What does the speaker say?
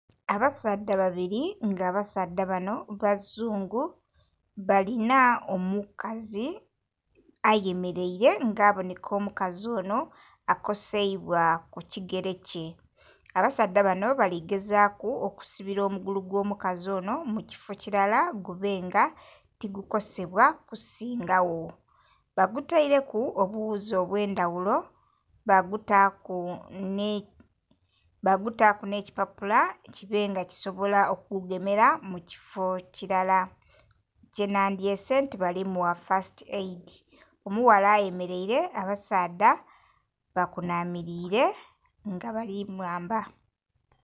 Abasaadha babiri nga abasaadha banho abazungu balinha omukazi ayemereire nga abonheka omukazi onho akoseibwa ku kigere kye, abasaadha banho bali gezaku okisibila omugugu gwo mukazi onho mu kifoo kilala gubenga tigukosebwa kusingagho. Bagutaireku obughuzi obwendhaghulo bagutaku nhe kipapula kibenga kisobola okugugemera mu kifoo kilala kyeba dhyese nti bali mugha "first aid", omughala ayemereire nga abasaadha bakunamirire nga bali mwamba